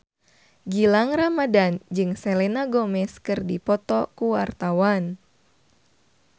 Gilang Ramadan jeung Selena Gomez keur dipoto ku wartawan